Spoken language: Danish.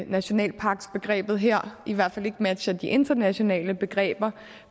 nationalparksbegrebet her i hvert fald ikke matcher de internationale begreber